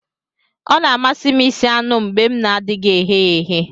Ọ na-amasị m ịsi anu m mgbe m na-adịghị eghe ya eghe